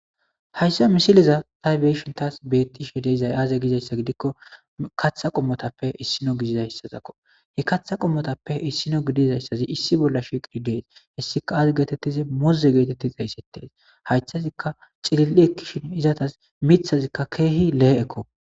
hayssa misiliza ta beyishin taas bettishe deizay aaze gizayssa gidikko katha qommotappe issino gidizayssazakko he katha qommotappe issino gidizayssazi issi bolla shiqidi dees hessika aaze geetettize moze geetettiz heysettees haysthazikka cililli ekkishin izatas mithazikka keehi lehe7ekko